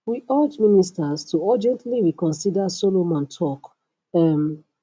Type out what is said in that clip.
we urge ministers to urgently reconsider solomon tok um